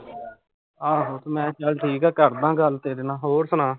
ਆਹੋ ਮੈਂ ਕਿਹਾਂ ਚੱਲ ਠੀਕ ਆ ਕਰਦਾ ਗੱਲ ਤੇਰੇ ਨਾਲ਼, ਹੋਰ ਸੁਣਾ